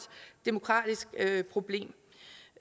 demokratisk problem